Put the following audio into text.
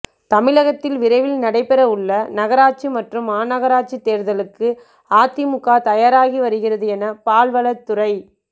தமிழகத்தில் விரைவில் நடைபெற உள்ள நகராட்சி மற்றும் மாநகராட்சி தோ்தலுக்கு அதிமுக தயாராகி வருகிறது என பால்வளத்துறை